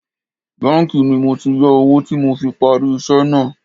Báńkì ni mo ti yá owó tí mo fi parí iṣẹ́ náà